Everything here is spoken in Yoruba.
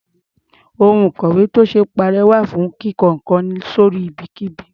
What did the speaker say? Ohun ìkọ̀wé tí ò ṣee parẹ́ wà fún kíko nǹkan sí orí ibikíbi.